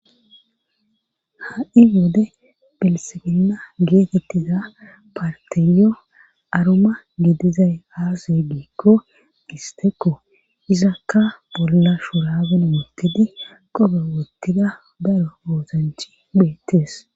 Ha'i wode belsefenna geetettiza parteyo aroma gidizay aasay giikko istekko izakka bolla shuraben wottidi qobe wottida daro oosanchi bheettes.